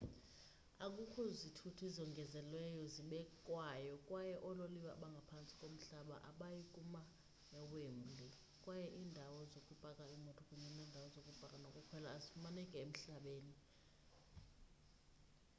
akukho zithuthi zongezelelweyo zibekwayo kwaye oololiwe abangaphantsi komhlaba abayi kuma ewembley kwaye iindawo zokupaka iimoto kunye neendawo zokupaka nokukhwela azifumaneki emhlabeni